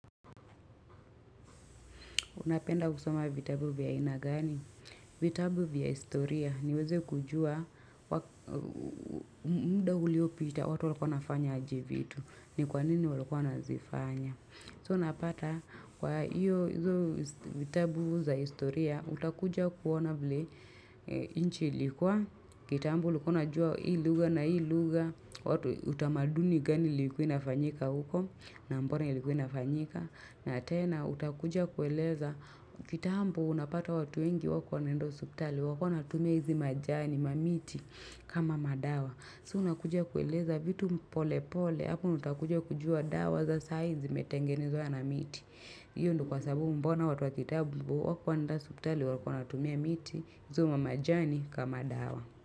Unapenda kusoma vitabu vya aina gani? Vitabu vya historia niweze kujua muda uliopita watu walikuwa wanafanyaaje vitu. Ni kwa nini walikuwa wanazifanya. So napata kwa hiyo vitabu za historia utakuja kuona vile nchi ilikuwa. Kitambo ulikua najua hii lugha na hii lugha. Watu utamaduni gani ilikuwa ina fanyika huko na mbona ilikuwa ina fanyika. Na tena utakuja kueleza kitambo unapata watu wengi wakuwa wanaenda haspitali walikuwa wanatumia hizi majani mamiti kama madawa. Sa una kuja kueleza vitu mpolepole hapo utakuja kujua dawa za sa hizi imetengenezwa na miti. Iyo ndio kwa sababu mbona watu wakitambo wakuwa wanaenda hospitali walikuwa wanatumia miti hizo ma majani kama dawa.